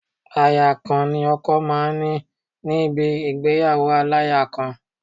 Aya kan ni ọkọ máa ń ní ní níbi ìgbéyàwó aláya kan